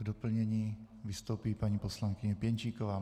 K doplnění vystoupí paní poslankyně Pěnčíková.